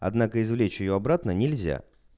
однако извлечь её обратно нельзя